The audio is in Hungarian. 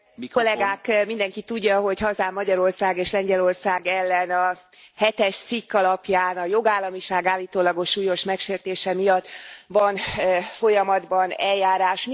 Elnök Úr! Mindenki tudja, hogy hazám, Magyarország és Lengyelország ellen a hetes cikk alapján, a jogállamiság állítólagos súlyos megsértése miatt van folyamatban eljárás.